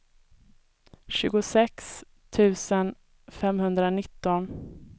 tjugosex tusen femhundranitton